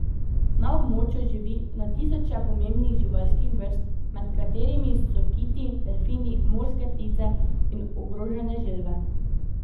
Na območju živi na tisoče pomembnih živalskih vrst, med katerimi so kiti, delfini, morske ptice in ogrožene želve.